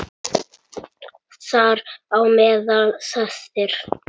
Þar á meðal þessir